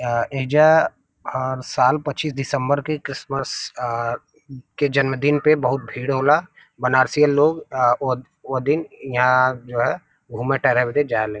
यहां ऐजा हर साल पच्चीस दिसम्बर के किरीश्मस के जन्मदिन पे बहुत भीड़ होला बनरसियां लोग वो दिन यहां जो घुमा तारे जा ले ।